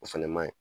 O fɛnɛ ma ɲi